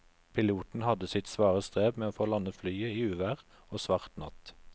Piloten hadde sitt svare strev med å få landet flyet i uvær og svart natt.